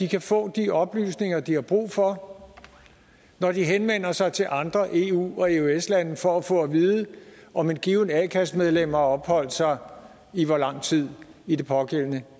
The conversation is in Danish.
kan få de oplysninger de har brug for når de henvender sig til andre eu og eøs lande for at få at vide om et givent a kassemedlem har opholdt sig i hvor lang tid i det pågældende